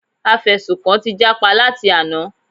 Afẹ̀sùnkàn ti jápa láti àná.